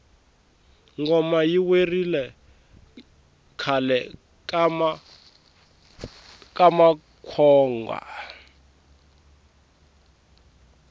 ngoma yi werile khale ka makwonga